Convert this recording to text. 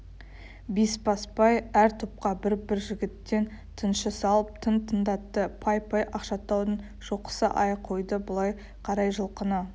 бесбасбай әр топқа бір-бір жігіттен тыңшы салып тың тыңдатты пай-пай ақшатаудың шоқысы-ай қойды былай қарай жылқыны